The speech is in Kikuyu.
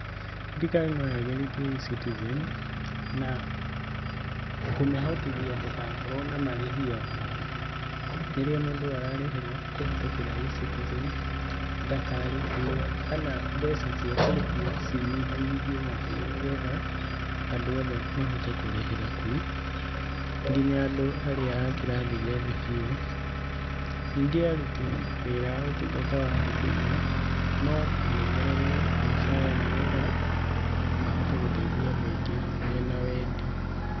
Thirikari no yagĩrithie E-citizen na kũmĩhotithia ndĩgakorwo na marĩhi o mothe. Rĩrĩa mũndũ ararĩhĩra kũhĩtũkĩra E-citizen, ndakarĩhio kana mbeca cia kũrĩhio cinyihanyihio makĩria nĩgetha andũ othe mahote kũrĩhĩra kuo nginya andũ arĩa a kĩrathi gĩa thĩ biũ. Ningĩ aruti wĩra a ũtungata wa huduma no mongererwo mũcara nĩgetha mahote gũteithia andũ aingĩ mena wendi.